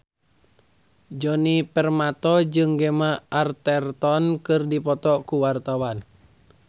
Djoni Permato jeung Gemma Arterton keur dipoto ku wartawan